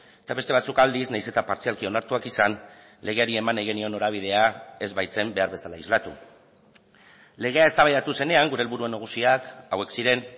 eta beste batzuk aldiz nahiz eta partzialki onartuak izan legeari eman nahi genion norabidea ez baitzen behar bezala islatu legea eztabaidatu zenean gure helburu nagusiak hauek ziren